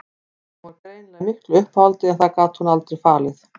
Hún var greinilega í miklu uppnámi en það gat hún aldrei falið.